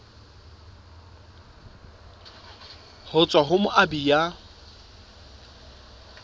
ho tswa ho moabi ya